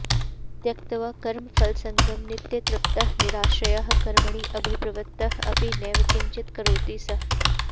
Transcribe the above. त्यक्त्वा कर्मफलासङ्गं नित्यतृप्तः निराश्रयः कर्मणि अभिप्रवृत्तः अपि नैव किञ्चित् करोति सः